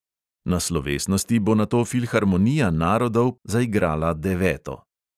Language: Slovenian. Na slovesnosti bo nato filharmonija narodov zaigrala deveto.